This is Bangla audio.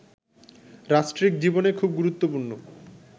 রাষ্ট্রিক জীবনে খুব গুরুত্বপূর্ণ